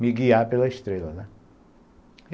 me guiar pela estrela, né.